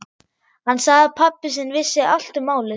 Hann sagði að pabbi sinn vissi allt um málið.